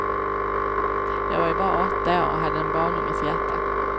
Jag var ju bara åtta år och hade en barnunges hjärta.